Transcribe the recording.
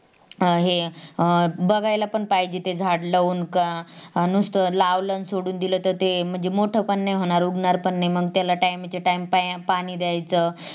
अं हे अह बघायल पण पाहिजेत ते झाड लावून का नुसता लावल अन सोडून दिल तर म्हणजे ते मोठा पण नाही होणार उगाणार पण नाही मंग त्याला Time to time पाणी द्यायचा